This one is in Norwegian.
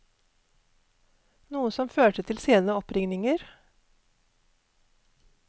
Noe som førte til sene oppringninger.